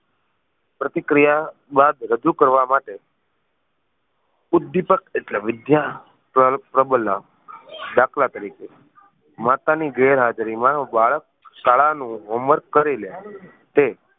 પ્રતિક્રિયા બાદ રજૂ કરવા માટે ઉદ્વિપક ઍટલે વિધ્યા પ્રબળ દાખલા તરીકે માતા ની ગેરહાજરી માં બાળક શાળા નું homework કરી લે તે